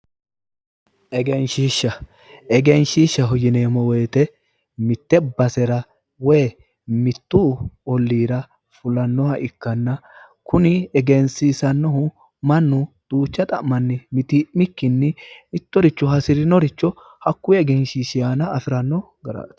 egenshiishsha egenshiishshaho yineemmo wote mitte basera woyi olliira fulannoha ikkanna kuni fulanohu mannu duucha xa'manni mitii'mikkinni mittoricho hasirinoricho afiranno garaati.